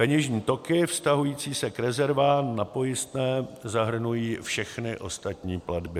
peněžní toky vztahující se k rezervám na pojistné zahrnují všechny ostatní platby.